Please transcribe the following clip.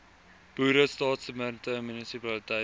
boere staatsdepartemente munisipaliteite